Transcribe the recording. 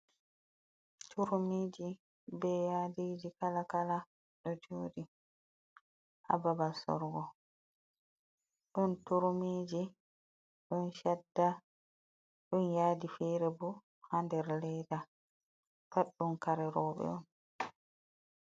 Turmiji be yadiji kala kala do jodi hababal sorugo, don turmiji don shadda don yadi fere bo hader leda pat dum kare roɓe on.